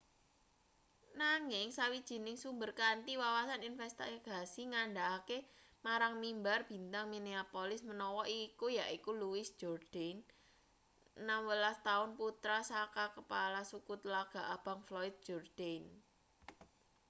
nanging sawijining sumber kanthi wawasan investigasi ngandhakake marang mimbar-bintang minneapolis menawa iku yaiku louis jourdain 16 taun putra saka kepala suku tlaga abang floyd jourdain